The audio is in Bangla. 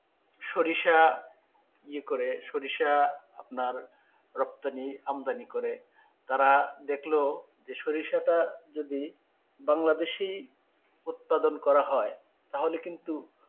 সরিষা ইয়ে করে সরিষা আপনার রক্ত নিয়ে আমদানি করে তারা দেখলো যে সরিষাটা যদি বাংলাদেশী উৎপাদন করা হয় তাহলে কিন্তু,